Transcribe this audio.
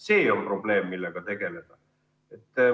See on probleem, millega tegeleda.